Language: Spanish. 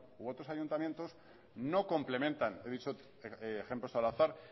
u otros ayuntamientos no complementan he dicho ejemplos al azar